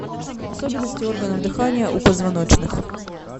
особенности органов дыхания у позвоночных